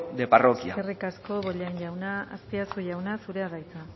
de parroquia eskerrik asko bollain jauna azpiazu jauna zurea da hitza